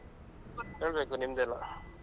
ಹೇಳ್ಬೇಕು ನಿಮ್ದೆ ಎಲ್ಲ.